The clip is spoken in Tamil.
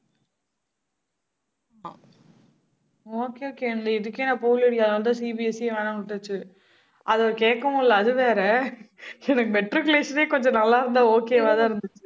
okay okay இதுக்கே நான் போகலடி அதனாலதான், CBSE ஏ வேணான்னு விட்டாச்சு அதை கேட்கவும் இல்லை அது வேற. எனக்கு matriculation ஏ கொஞ்சம் நல்லா இருந்தா okay வாதான் இருந்துச்சு